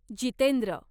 Jitendra